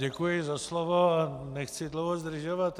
Děkuji za slovo a nechci dlouho zdržovat.